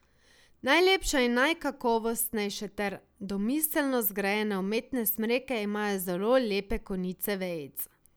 Najlepše in najkakovostnejše ter res domiselno zgrajene umetne smreke imajo zelo lepe konice vejic.